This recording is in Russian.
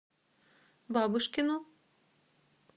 бабушкину